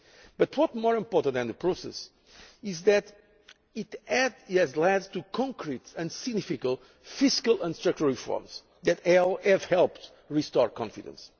But more important than the process is that it has led to concrete and significant fiscal and structural reforms that have helped restore confidence.